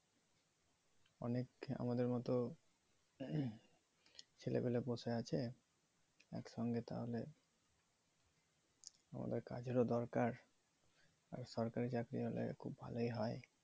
অনেক আমাদের মতো ছেলে পিলে বসে আছে একসঙ্গে তাহলে আমাদের কাজের ও দরকার আর সরকারি চাকরি হলে খুব ভালোই হয়ে